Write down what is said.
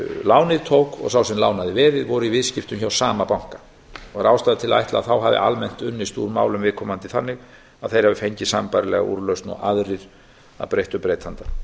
lánið tók og sá sem lánaði veðið voru í viðskiptum hjá sama banka og er ástæða til að ætla að þá hafi almennt unnist úr málum viðkomandi þannig að þeir hafi fengið sambærilega úrlausn og aðrir að breyttu breytanda